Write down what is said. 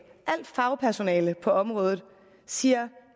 alt fagpersonale på området siger